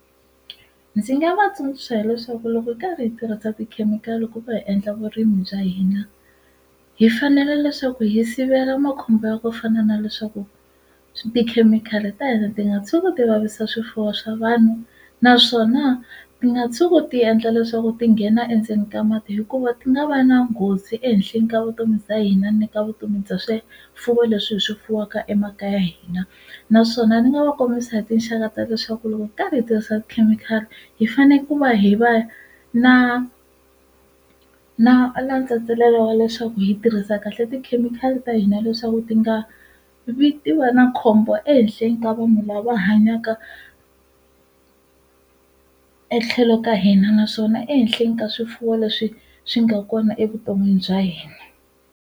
Ndzi nga va tsundzuxa hileswaku loko hi karhi hi tirhisa tikhemikhali ku va hi endla vurimi bya hina hi fanele leswaku hi sivela makhombo ya ku fana na leswaku tikhemikhali ta hina ti nga tshuki ti vavisa swifuwo swa vanhu naswona ti nga tshuki ti endla leswaku ti nghena endzeni ka mati hikuva ti nga va na nghozi ehenhleni ka vutomi bya hina ni ka vutomi bya swifuwo leswi hi swi fuwaka emakaya ya hina naswona ni nga va kombisa hi tinxaka ta leswaku loko hi karhi hi tirhisa tikhemikhali hi fanele ku va hi va na na wa leswaku hi tirhisa kahle tikhemikhali ta hina leswaku ti nga vitiwa na khombo ehenhleni ka vunhu lava hanyaka etlhelo ka hina naswona ehenhleni ka swifuwo leswi swi nga kona evuton'wini bya hina.